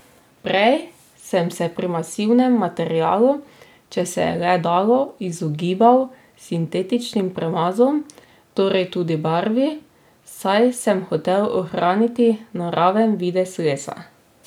Prej sem se pri masivnem materialu, če se je le dalo, izogibal sintetičnim premazom, torej tudi barvi, saj sem hotel ohraniti naraven videz lesa.